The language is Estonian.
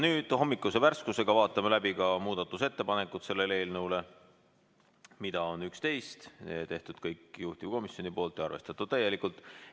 Nüüd hommikuse värskusega vaatame läbi ka selle eelnõu muudatusettepanekud, mida on 11, tehtud kõik juhtivkomisjoni poolt ja arvestatud täielikult.